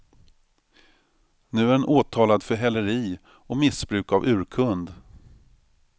Nu är hon åtalad för häleri och missbruk av urkund.